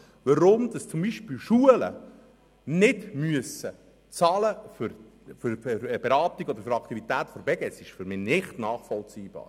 Warum zum Beispiel Schulen nichts für Beratungen oder Angebote der Beges zahlen müssen, ist für mich nicht nachvollziehbar.